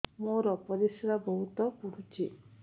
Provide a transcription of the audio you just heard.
ମୋର ପରିସ୍ରା ବହୁତ ପୁଡୁଚି